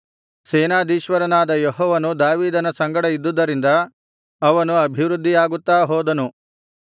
ಸೇನಾಧೀಶ್ವರನಾದ ಯೆಹೋವನು ದಾವೀದನ ಸಂಗಡ ಇದ್ದುದರಿಂದ ಅವನು ಅಭಿವೃದ್ಧಿಯಾಗುತ್ತಾ ಹೋದನು